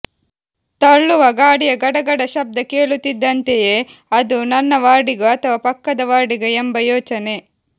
ತಳ್ಳುವ ಗಾಡಿಯ ಗಡಗಡ ಶಬ್ದ ಕೇಳುತ್ತಿದ್ದಂತೆಯೇ ಅದು ನನ್ನ ವಾರ್ಡಿಗೋ ಅಥವಾ ಪಕ್ಕದ ವಾರ್ಡಿಗೋ ಎಂಬ ಯೋಚನೆ